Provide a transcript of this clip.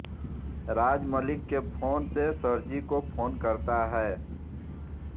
राज मलिक के फोन से सरजी को फोन करता है